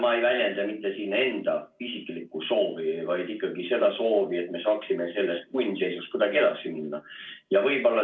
Ma ei väljenda siin mitte enda isiklikku soovi, vaid ikkagi seda soovi, et me saaksime sellest punnseisust kuidagi edasi minna.